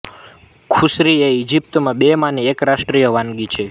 koshari એ ઇજિપ્તની બે માંની એક રાષ્ટ્રીય વાનગી છે